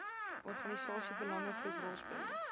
organisasie belangegroep rolspeler